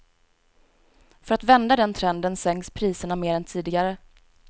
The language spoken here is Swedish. För att vända den trenden sänks priserna mer än tidigare.